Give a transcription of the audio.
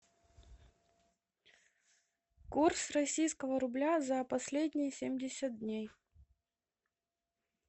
курс российского рубля за последние семьдесят дней